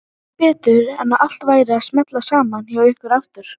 Sá ekki betur en að allt væri að smella saman hjá ykkur aftur.